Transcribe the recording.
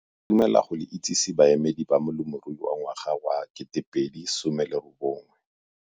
Re itumela go le itsese baemedi ba Molemirui wa Ngwaga wa 2019.